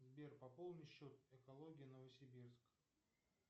сбер пополни счет экология новосибирск